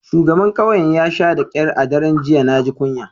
Shugaban kauyen ya sha da kyar a daren jiya. Na ji kunya.